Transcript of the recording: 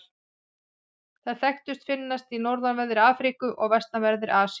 Þær þekktustu finnast í norðanverðri Afríku og vestanverðri Asíu.